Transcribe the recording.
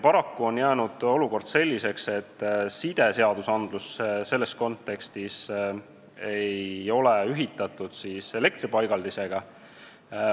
Paraku on olukord jäänud selliseks, et side- ja elektripaigaldiste ehitamist ei ole seaduste kontekstis ühitatud.